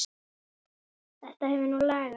Þetta hefur nú lagast.